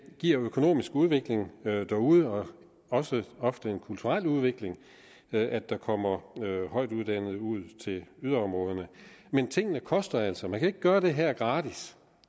giver økonomisk udvikling derude og også ofte en kulturel udvikling at der kommer højtuddannede ud til yderområderne men tingene koster altså man kan ikke gøre det her gratis